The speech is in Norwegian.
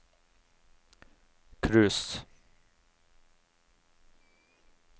cruise